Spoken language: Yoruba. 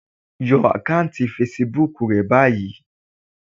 Yọ àkáùntì fesibúùkù rẹ báyìí.